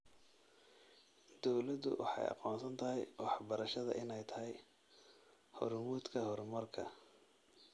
Dawladdu waxay aqoonsatay waxbarashada inay tahay hormuudka horumarka.